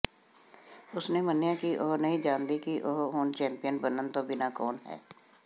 ਉਸਨੇ ਮੰਨਿਆ ਕਿ ਉਹ ਨਹੀਂ ਜਾਣਦੀ ਕਿ ਉਹ ਹੁਣ ਚੈਂਪੀਅਨ ਬਣਨ ਤੋਂ ਬਿਨਾਂ ਕੌਣ ਹੈ